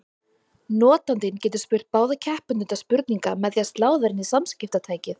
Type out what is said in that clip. Notandinn getur spurt báða keppendurna spurninga með því að slá þær inn í samskiptatækið.